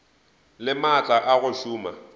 le maatla a go šoma